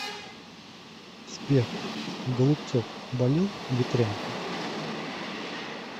сбер голубцов болел ветрянкой